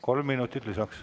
Kolm minutit lisaks.